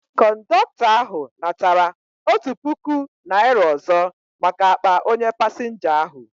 Kọndọktọ ahu natara otụ pụkụ naira ọzọ maka akpa onye pasinja ahu